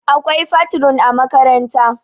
akwai fatrun a makaranta